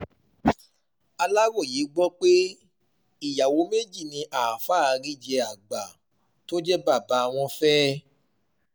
aláròye gbọ́ pé um ìyàwó méjì ni àáfàá um àríjẹ àgbà tó jẹ́ bàbá wọn fẹ́